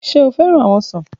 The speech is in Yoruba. Ṣe o fẹran awọn ọsan?